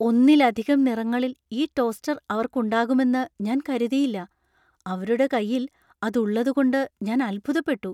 ഒന്നിലധികം നിറങ്ങളിൽ ഈ ടോസ്റ്റർ അവർക്കുണ്ടാകുമെന്ന് ഞാൻ കരുതിയില്ല, അവരുടെ കൈയിൽ അത് ഉള്ളതുകൊണ്ട് ഞാൻ അത്ഭുതപ്പെട്ടു.